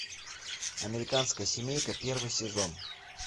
американская семейка первый сезон